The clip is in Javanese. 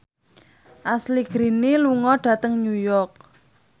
Ashley Greene lunga dhateng New York